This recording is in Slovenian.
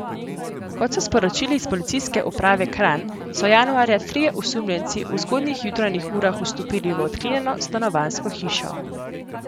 Kot so sporočili iz Policijske uprave Kranj, so januarja trije osumljenci v zgodnjih jutranjih urah vstopili v odklenjeno stanovanjsko hišo.